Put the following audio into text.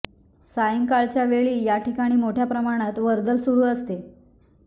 सायंकाळच्या वेळी या ठिकाणी मोठ्या प्रमाणात वर्दळ सुरू असते